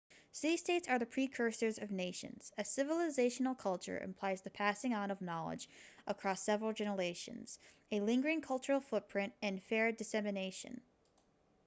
city-states are the precursors of nations a civilizational culture implies the passing on of knowledge across several generations a lingering cultural footprint and fair dissemination